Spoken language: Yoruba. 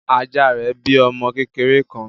Ajá rẹ bí ọmọ kékeré kán.